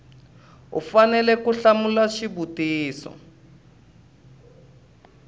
u fanele ku hlamula xivutiso